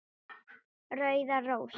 Rauðar rósir